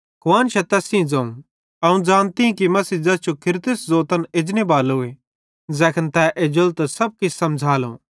कुआन्शां तैस सेइं ज़ोवं अवं ज़ानती कि मसीह ज़ैस जो ख्रिस्त ज़ोतन एजनेबालोए ज़ैखन तै एज्जेलो तै सब किछ समझ़ालो